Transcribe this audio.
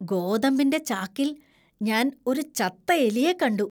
ഗോതമ്പിന്‍റെ ചാക്കിൽ ഞാൻ ഒരു ചത്ത എലിയെ കണ്ടു .